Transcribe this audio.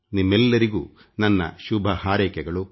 ನಿಮ್ಮೆಲ್ಲರಿಗೂ ಅಭಿನಂದನೆಗಳು ಮತ್ತು ನನ್ನ ಶುಭ ಹಾರೈಕೆಗಳು